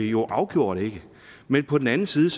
jo afgjort ikke men på den anden side